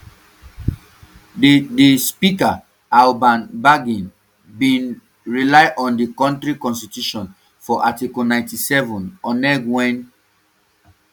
di di speaker alban bagbin bin rely on di um kontri constitution for article ninety-seven oneg wen